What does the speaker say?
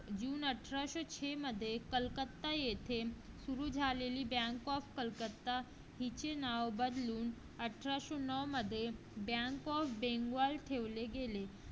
जून अठराशे छे मध्ये सुरू झालेले bank of कलकत्ता याचे नाव बदलून अठरासो नो मध्ये bank of बेंगॉल ठेवले गेले.